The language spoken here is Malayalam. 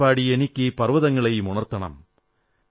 പാടിപ്പാടിയെനിക്കീ പർവ്വതങ്ങളെയുമുണർത്തണം